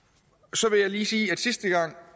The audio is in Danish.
så vil jeg lige sige